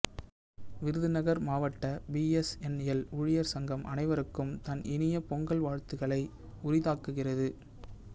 விருதுநகர் மாவட்ட B S N L ஊழியர் சங்கம் அனைவருக்கும் தன் இனிய பொங்கல் வாழ்த்துக்களை உரித்தாக்குகிறது